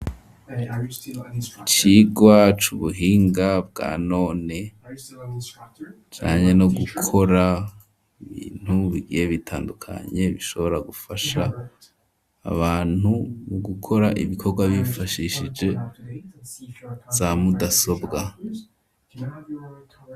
Icigwa c' ubuhinga bwa none, kijanye no gukora ibintu, bigiye bitandukanye, bishobora gufasha abantu mu gukora ibikogwa bifashishije ,za mudasobwa.